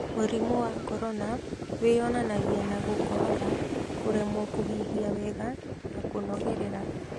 Mũrimũ wa Corona wĩyonanagia na gũkorora, kũremwo kũhuhia wega na kũnogerera.